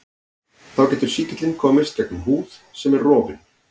Þá getur sýkillinn komist gegnum húð sem er rofin.